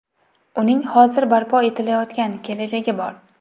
Uning hozir barpo etilayotgan kelajagi bor.